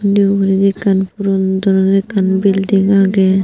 nuow guriney ekkan puron dol guri ekkan belding agey.